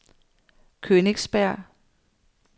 Königsberg